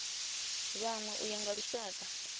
vhanwe u ya nga lushaka